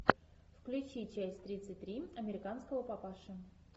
включи часть тридцать три американского папаши